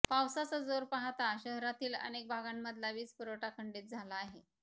पावसाचा जोर पाहता शहरातील अनेक भागांमधला वीजपुरवठा खंडीत झाला आहे